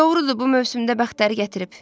Doğrudur, bu mövsümdə bəxtəri gətirib.